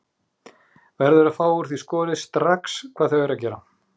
Verður að fá úr því skorið strax hvað þau eru að gera.